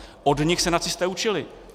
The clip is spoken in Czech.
Od nich se nacisté učili.